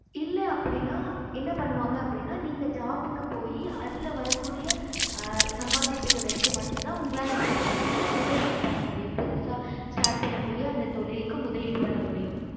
இல்ல அப்படின்னா என்ன பண்ணுவாங்க அப்படின்னா நீங்க job க்கு போயி அதுல வர கூடிய சம்பாதியத்த வச்சி மட்டும் தான் எங்களால என்ன பன்னமுடியுன்ன முதலிடு பண்ண முடியும் புதுசா start பண்ண கூடிய தொழிலுக்கு முதலிடு பண்ணமுடியும்